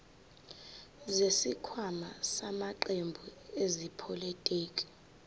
zesikhwama samaqembu ezepolitiki